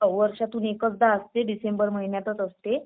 हो वर्षातून एकचदा असते डिसेंबर महिन्यात असते.